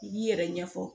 I b'i yɛrɛ ɲɛfɔ